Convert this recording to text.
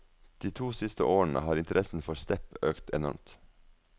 De to siste årene har interessen for step økt enormt.